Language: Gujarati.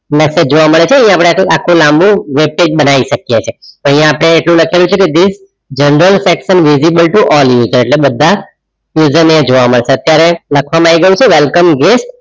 message જોવા મળે છે અહીંયા આખો લાંબુ webpage બનાવી શકીએ છીએ અહીંયા આપણે એટલું લખેલું છે કે this general section visible to all user એટલે બધા user જોવા મળશે અત્યારે લખવાનો આવી ગયું છે welcome guest